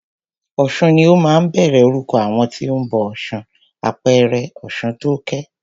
Ọ̀sun ni ó máa ń bẹ̀rẹ̀ orúkọ àwọn tí o ń bọ ọ̀ṣun, àpẹẹrẹ Ọ̀ṣuntókẹ́.